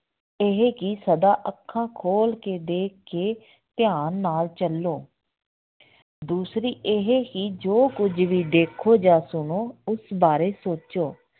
ਇਹ ਕਿ ਸਦਾ ਅੱਖਾਂ ਖੋਲ ਕੇ ਦੇਖ ਕੇ ਧਿਆਨ ਨਾਲ ਚੱਲੋ ਦੂਸਰੀ ਇਹ ਕਿ ਜੋ ਕੁੱਝ ਵੀ ਦੇਖੋ ਜਾਂ ਸੁਣੋ ਉਸ ਬਾਰੇ ਸੋਚੋ